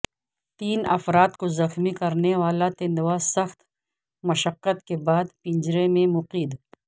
تین افراد کو زخمی کرنے والا تندوا سخت مشقت کے بعد پنجرے میں مقید